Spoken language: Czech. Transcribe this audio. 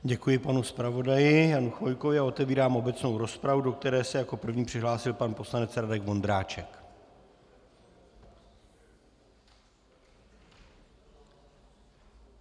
Děkuji panu zpravodaji Janu Chvojkovi a otevírám obecnou rozpravu, do které se jako první přihlásil pan poslanec Radek Vondráček.